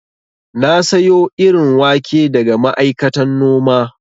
Na sayo irin wake daga ma'aikatan noma